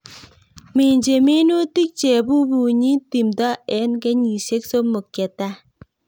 Minjin minutik chebubunyi timto en kenyisiek somok chetai.